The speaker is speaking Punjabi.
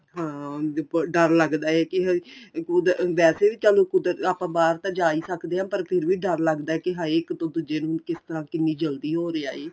ਹਾਂ ਹੁਣ ਡਰ ਲਗਦਾ ਏ ਕੀ ਉਹਦਾ ਵੈਸੇ ਵੀ ਚੱਲ ਕੁਦਰਤੀ ਆਪਾਂ ਬਾਹਰ ਤਾਂ ਜਾ ਈ ਸਕਦੇ ਆ ਪਰ ਫਿਰ ਵੀ ਡਰ ਲੱਗਦਾ ਕੀ ਇੱਕ ਤੋਂ ਦੂਜੇ ਨੂੰ ਕਿਸ ਤਰ੍ਹਾਂ ਕਿੰਨੀ ਜਲਦੀ ਹੋ ਰਿਹਾ ਏ